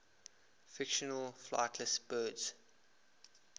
fictional flightless birds